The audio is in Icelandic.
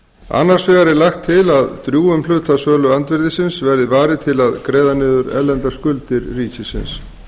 annars vegar er lagt til að drjúgum hluta söluandvirðisins verði varið til að greiða niður erlendar skuldir ríkisins